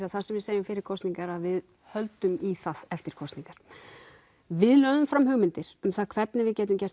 að það sem við segjum fyrir kosningar að við höldum í það eftir kosningar við lögðum fram hugmyndir um hvernig við gætum gert